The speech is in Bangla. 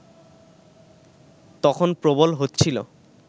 তখন প্রবল হচ্ছিল